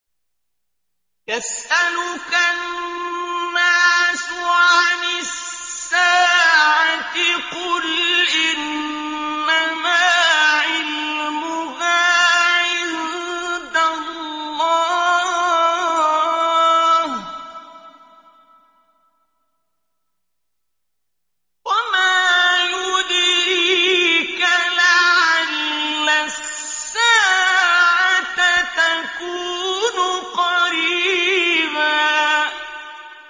يَسْأَلُكَ النَّاسُ عَنِ السَّاعَةِ ۖ قُلْ إِنَّمَا عِلْمُهَا عِندَ اللَّهِ ۚ وَمَا يُدْرِيكَ لَعَلَّ السَّاعَةَ تَكُونُ قَرِيبًا